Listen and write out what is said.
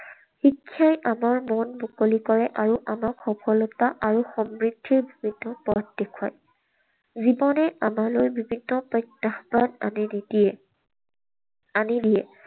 শিক্ষাই আমাৰ মন মুকলি কৰে আৰু আমাক সফলতা আৰু সমৃদ্ধিৰ পৃথক পথ দেখুৱায়। জীৱনে আমালৈ বিভিন্ন প্ৰত্যাহ্বান আনি নিদিয়ে, আনি দিয়ে।